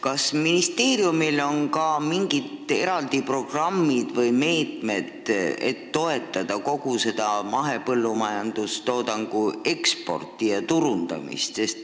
Kas ministeeriumil on ka mingid eraldi programmid või meetmed, et toetada kogu seda mahepõllumajandustoodangu eksporti ja turundamist?